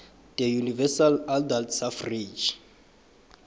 universal adult suffrage